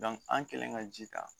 an kɛlen ka ji ta